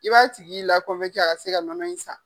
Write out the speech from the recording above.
I b'a tigi a ka se ka nɔnɔ in san.